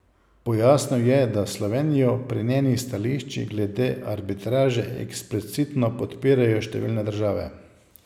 Pojasnil je, da Slovenijo pri njenih stališčih glede arbitraže eksplicitno podpirajo številne države.